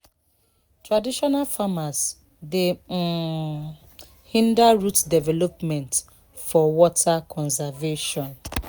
traditional farmers dey um hinder root development for water conservation.